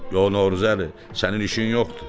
Yox Növruzəli, sənin işin yoxdur.